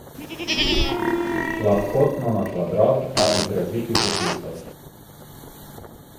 Lahkotno na kvadrat, a izrazitih okusov!